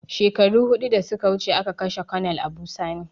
Shekaru hudu da suka wuce a ka kashe konel Abu sani